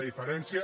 diferència